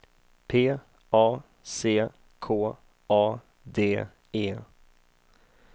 P A C K A D E